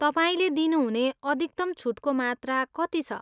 तपाईँले दिनुहुने अधिकतम छुटको मात्रा कति छ?